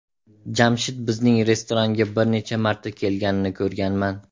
Jamshid bizning restoranga bir necha marta kelganini ko‘rganman.